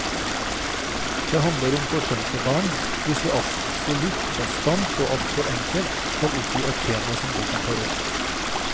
Det handler om forsømte barn, hvis vi absolutt bastant og alt for enkelt skal oppgi et tema som boken tar opp.